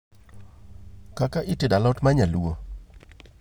kaka itedo a lot ma nyaluo